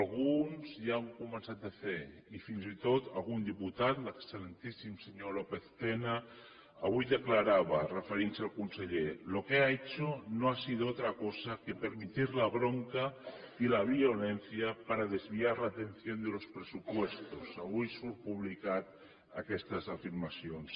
alguns ja ho han començat a fer i fins i tot algun diputat l’excel·lentíssim senyor lópez tena avui declarava referint se al conseller lo que ha hecho no ha sido otra cosa que permitir la bronca y la violencia para desviar la atención de los presupuestos avui surten publicades aquestes afirmacions